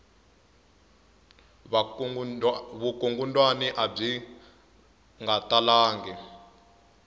vukungundwana abyi nga talanga